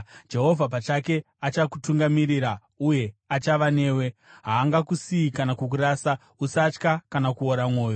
Jehovha pachake achakutungamirira uye achava newe; haangakusiyi kana kukurasa. Usatya kana kuora mwoyo.”